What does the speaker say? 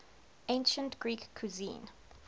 ancient greek cuisine